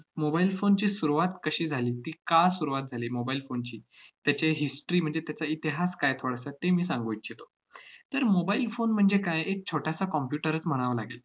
mobile phone ची सुरुवात कशी झाली, ती का सुरुवात झाली mobile phone ची, त्याची history म्हणजे त्याचा इतिहास काय थोडासा ते मी सांगू इच्छितो. तर mobile phone म्हणजे काय? एक छोटासा computer च म्हणावा लागेल.